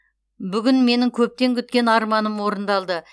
бүгін менің көптен күткен арманым орындалды